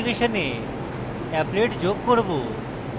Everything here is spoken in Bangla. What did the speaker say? web অ্যাপ্লিকেশনে applet যোগ করব